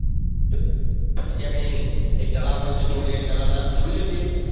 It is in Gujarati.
પછી ત્યાં એક તળાવ પણ છે ટોલીએ તળાવ નામ સાંભળ્યું છે એનું તે?